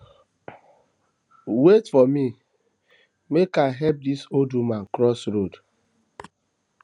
wait for me make i help dis old woman cross road